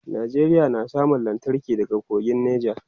Nigeria na samun lantarki daga kogin nija